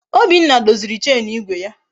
Obinna doziri Chenu igwe ya